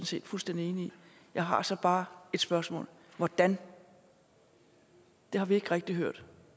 set fuldstændig enig i jeg har så bare et spørgsmål hvordan det har vi ikke rigtig hørt